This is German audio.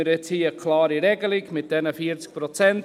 Mit diesen 40 Prozent hat man jetzt hier eine klare Regelung.